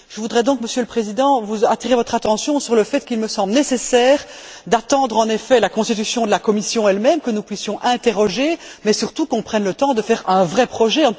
Je voudrais donc, Monsieur le Président, attirer votre attention sur le fait qu'il me semble nécessaire d'attendre la constitution de la Commission elle même, pour que nous puissions l'interroger, mais surtout qu'on prenne le temps de faire un vrai projet.